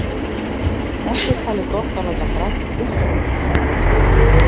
Ekki er talið gott að láta braka í puttunum í tíma og ótíma.